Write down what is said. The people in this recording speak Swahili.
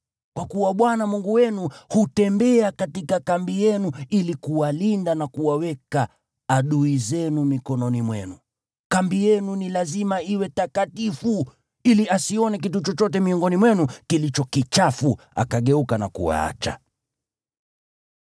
Kwa kuwa Bwana Mungu wenu hutembea katika kambi yenu ili kuwalinda na kuwaweka adui zenu mikononi mwenu. Kambi yenu ni lazima iwe takatifu, ili asione kitu chochote miongoni mwenu kilicho kichafu akageuka na kuwaacha.